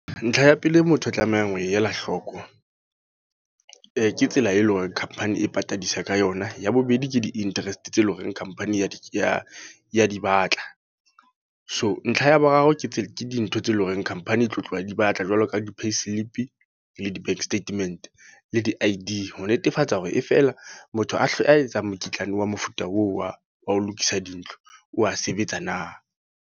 Ntlha ya pele motho a tlamehang ho ela hloko. Ke tsela e leng hore company e patadisa ka yona. Ya bobedi ke di-interest tse leng hore company ya di, ya di batla. So ntlha ya boraro ke tsela, ke di dintho tse leng horeng company e tlo tloha e di batla. Jwalo ka di-payslip, le di-bank statement. Le di-I_D ho netefatsa hore e fela motho a hle a etsang mokitlane wa mofuta oo wa, wa ho lokisa dintlo o a sebetsa na.